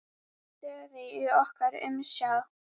Stöðugt í okkar umsjá.